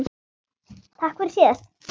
Takk fyrir síðast, segir hann.